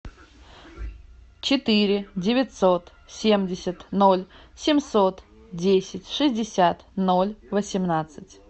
четыре девятьсот семьдесят ноль семьсот десять шестьдесят ноль восемнадцать